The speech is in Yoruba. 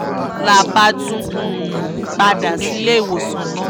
la bá tún um padà sílé ìwòsàn náà